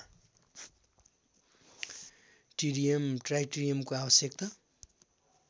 टिरियम ट्राइटिरियमको आवश्यकता